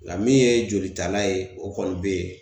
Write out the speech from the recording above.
Nga min ye jolitala ye o kɔni be yen